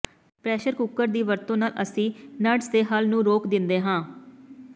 pressure cooker ਦੀ ਵਰਤੋਂ ਨਾਲ ਅਸੀਂ ਨਡਜ਼ ਦੇ ਹੱਲ ਨੂੰ ਰੋਕ ਦਿੰਦੇ ਹਾਂ